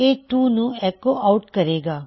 ਇਹ 2 ਨੂੰ echo out ਕਰੇਗਾ